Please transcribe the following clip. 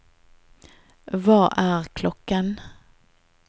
hva er klokken